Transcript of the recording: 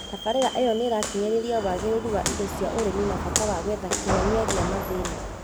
Tabarĩra ĩyo nĩĩrakinyĩrĩria wagĩrĩru wa indo cia ũrĩmi na bata wa gwetha kĩhonia gĩa mathĩna